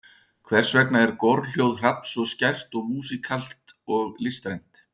Hversvegna er gorhljóð hrafns svo skært og músíkalskt og listrænt?